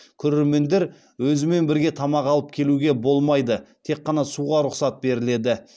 көрермендер өзімен бірге тамақ алып келуге болмайды тек қана суға рұқсат беріледі